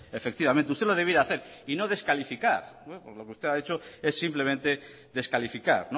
efectivamente usted lo debiera hacer y no descalificar pues lo que usted ha hecho es simplemente descalificar